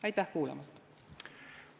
Aitäh kuulamast!